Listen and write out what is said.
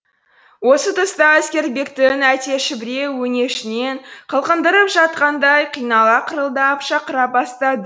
осы тұста әскербектің әтеші біреу өңешінен қылқындырып жатқандай қинала қырылдап шақыра бастады